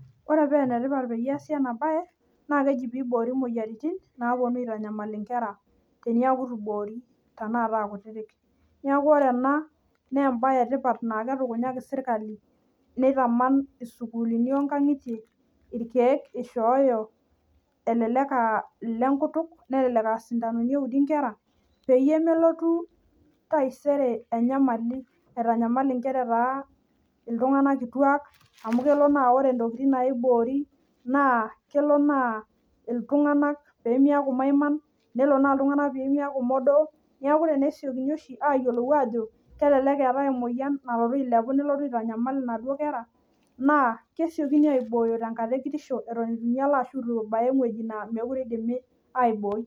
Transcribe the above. Ore paa enetipat peyie easi ena bae naa keji peyie eiboori imoyiaritin naponu aitanyamal inkera teneaku eitu eiboori tanakata aa kutiti. Niaku ore ena naa embae etipata naa ketukunyaki sirkali neitaman isukuulini nkajijik onkangitie irkeek eishooyo elelek aaah ilenkutuk ashuu isintanoni eudi inkera peyie melotu taisere enyamali aitanyamal inkera etaa iltunganak kituak amu kelo naa ore ntokitin naiboori naa kelo naa iltunganak peyie emeaku maiman nelo naa iltunganak peemeaku modook. Neaku tenelo nesiokini aajo kelelek eetai emoyian nalotu ailepu nelotu aitanyamal inaduo kera naa kesiokini aipooyo tenkata ekitosho eton eitu ebaya ewueji nemeitokini aibooi